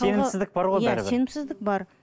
сенімсіздік бар ғой иә сенімсіздік бар